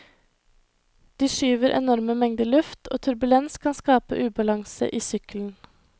De skyver enorme mengder luft, og turbulens kan skape ubalanse i sykkelen.